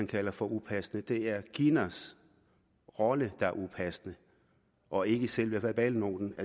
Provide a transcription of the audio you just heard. kalder for upassende det er kinas rolle der er upassende og ikke selve verbalnoten